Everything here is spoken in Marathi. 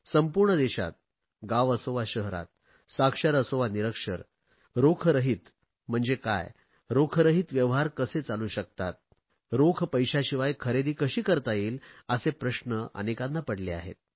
संपूर्ण देशात गाव असो वा शहरात साक्षर असो वा निरक्षर सर्वांनाच रोखरहित म्हणजे काय रोखरहित व्यवहार कसे चालू शकतात रोख पैशाशिवाय खरेदी कशी करता येईल असे प्रश्न पडले आहेत